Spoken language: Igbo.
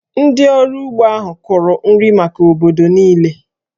Ndị ọrụ ugbo ahụ kụrụ nri maka obodo niile